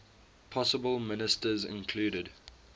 possible ministers included